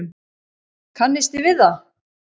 Kannisti við það!